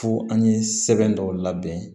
Fo an ye sɛbɛn dɔw labɛn